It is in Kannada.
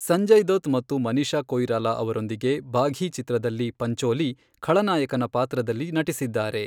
ಸಂಜಯ್ ದತ್ ಮತ್ತು ಮನೀಷಾ ಕೊಯಿರಾಲಾ ಅವರೊಂದಿಗೆ ಬಾಘೀ ಚಿತ್ರದಲ್ಲಿ ಪಂಚೋಲಿ ಖಳನಾಯಕನ ಪಾತ್ರದಲ್ಲಿ ನಟಿಸಿದ್ದಾರೆ.